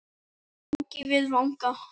Vangi við vanga.